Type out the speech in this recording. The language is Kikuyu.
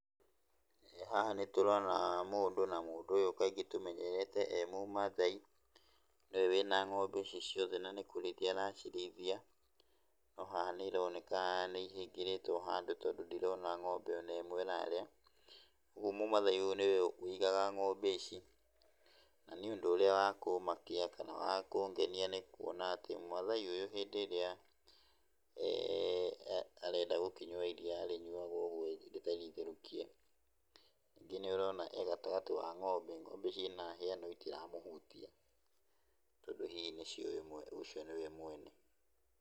Haha nĩtũrona mũndũ na mũndũ ũyũ tumenyerete kaingĩ e mũmathai, nĩwe wĩna ng’ombe ici ciothe na nĩgũcirĩithia aracirĩithia, no haha nĩ ironeka nĩ ihingĩrĩtwo handũ tondũ ndirona ng’ombe ona ĩmwe ĩrarĩa, kwoguo mũmathai ũyũ nĩwe wĩigaga ng’ombe ici, na nĩ ũndũ ũrĩa wa kũmakia kana wa kũgenia nĩ kuona atĩ maathai ũyũ hĩndĩ ĩrĩa ee arenda gũkĩnyua iria arĩnyuaga omweri rĩtarĩ itherũkie. Ningĩ nĩ ũrona e gatagatĩ ka ngombe cina hĩa na itiramũhutia, tondũ hihi nĩ ciũĩ ũcio niwe mwene.